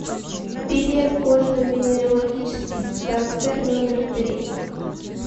билет кожно венерологический диспансер номер три